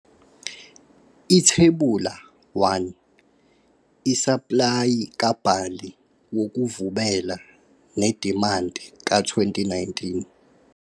Ithebula 1- isaplayi kabhali wokuvubela nedimandi ka-2019.